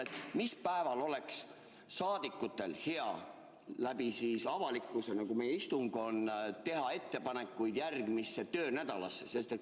Mu küsimus on: mis päeval oleks saadikutel hea läbi avalikkuse, nagu meie istung on, teha ettepanekuid järgmise töönädala kohta?